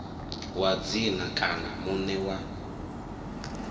wa dzina kana muṋe wa